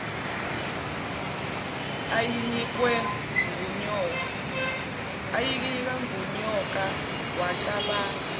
ayinikwe ngunyoka wacabanga